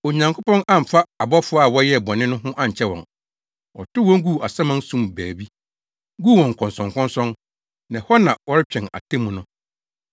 Onyankopɔn amfa abɔfo a wɔyɛɛ bɔne no ho ankyɛ wɔn. Ɔtow wɔn guu asaman sum mu baabi, guu wɔn nkɔnsɔnkɔnsɔn, na ɛhɔ na wɔretwɛn atemmu no.